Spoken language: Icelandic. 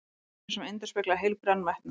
Draumur sem endurspeglaði heilbrigðan metnað.